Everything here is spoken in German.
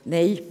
Nein